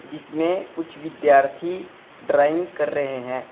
जिसमें कुछ विद्यार्थी ड्राइंग कर रहे हैं।